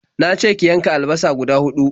Na ce ki yanka alabasa guda huɗu.